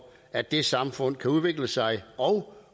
at det samfund kan udvikle sig og